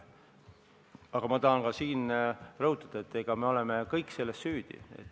Aga ma tahan ka siin rõhutada, et me oleme kõik selles süüdi.